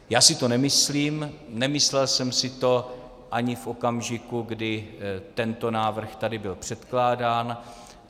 Já si to nemyslím, nemyslel jsem si to ani v okamžiku, kdy tento návrh tady byl předkládán.